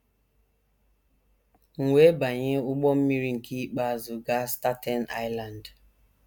M wee banye ụgbọ mmiri nke ikpeazụ gaa Staten Island.